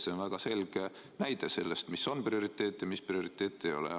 See on väga selge näide selle kohta, mis on prioriteet ja mis prioriteet ei ole.